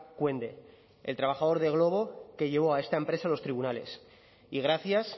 cuende el trabajador de glovo que llevó a esta empresa a los tribunales y gracias